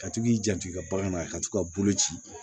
Ka to k'i janto i ka bagan na ka t'u ka bolo ci